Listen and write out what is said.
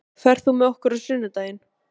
Björgvin, ferð þú með okkur á sunnudaginn?